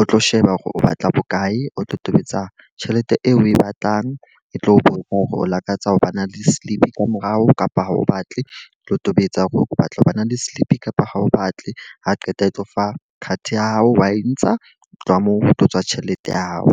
o tlo sheba hore o batla bokae. O tlo tobetsa tjhelete eo o e batlang. E tlo o bone hore o lakatsa ho ba na le slip ka morao kapa ha o batle le ho tobetsa hore o batla ho ba na le slip kapa ha o batle. Ha qeta e tlo fa card ya hao wa e ntsha tloha moo ho tlo tswa tjhelete ya hao.